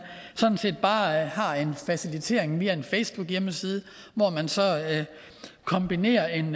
sådan set bare har en facilitering via en facebookside hvor man så kombinerer en